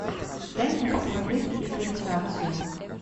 дай мне посмотреть экранизацию